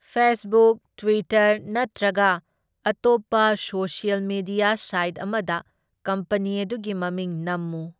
Facebook, Twitter ꯅꯠꯇ꯭ꯔꯒ ꯑꯇꯣꯞꯄ social media site ꯑꯃꯗ ꯀꯝꯄꯅꯤ ꯑꯗꯨꯒꯤ ꯃꯃꯤꯡ ꯅꯝꯃꯨ꯫